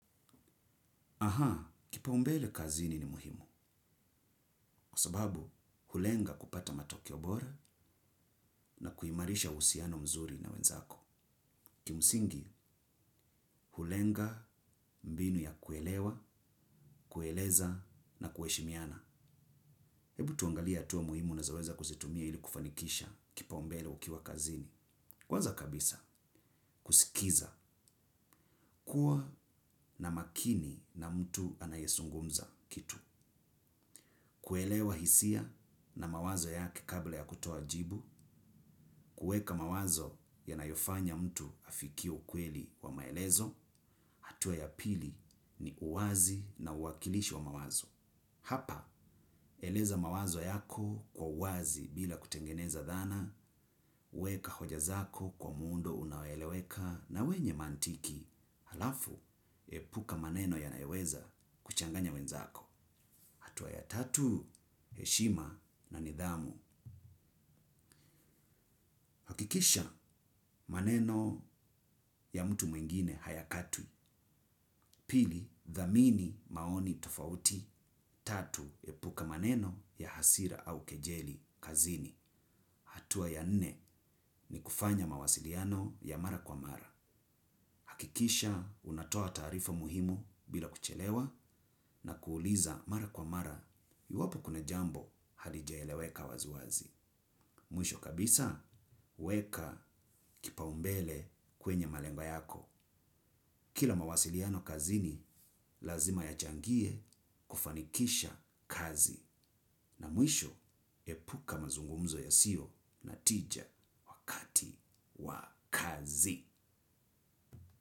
Aha, kipaumbele kazini ni muhimu, kwa sababu hulenga kupata matokeo bora na kuimarisha uhusiano mzuri na wenzako. Kimsingi, hulenga mbinu ya kuelewa, kueleza na kuheshimiana. Ebu tuangalie hatua muhimu unazoweza kuzitumia ili kufanikisha kipaumbele ukiwa kazini. Kwanza kabisa, kusikiza, kuwa na makini na mtu anayezungumza kitu. Kuelewa hisia na mawazo yake kabla ya kutoa jibu, kueka mawazo yanayofanya mtu afikie ukweli wa maelezo, hatua ya pili ni uwazi na uwakilishi wa mawazo. Hapa, eleza mawazo yako kwa uwazi bila kutengeneza dhana, weka hoja zako kwa muundo unaoeleweka na wenye mantiki, halafu epuka maneno yanayoweza kuchanganya wenzako. Hatua ya tatu, heshima na nidhamu. Hakikisha maneno ya mtu mwingine hayakatwi. Pili, dhamini maoni tofauti. Tatu, epuka maneno ya hasira au kejeli kazini. Hatua ya nne ni kufanya mawasiliano ya mara kwa mara. Hakikisha unatoa taarifa muhimu bila kuchelewa na kuuliza mara kwa mara. Iwapo kuna jambo halijaeleweka waziwazi. Mwisho kabisa, weka kipaumbele kwenye malengo yako. Kila mawasiliano kazini, lazima yachangie kufanikisha kazi. Na mwisho, epuka mazungumzo yasiyo na tija wakati wa kazi.